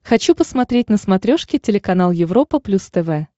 хочу посмотреть на смотрешке телеканал европа плюс тв